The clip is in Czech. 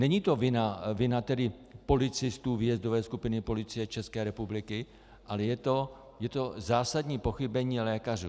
Není to vina tedy policistů výjezdové skupiny Policie České republiky, ale je to zásadní pochybení lékařů.